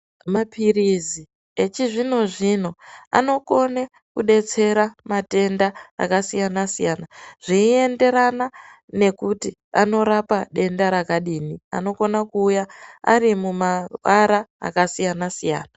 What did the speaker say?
Mapirizi echizvino zvino anokone kudetsera matenda akasiyana siyana zveienderana nekuti anorapa denda rakadini anokone kuuya ari mumaara akasiyana siyana.